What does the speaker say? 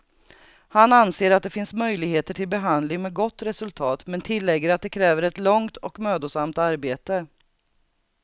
Han anser att det finns möjligheter till behandling med gott resultat, men tillägger att det kräver ett långt och mödosamt arbete.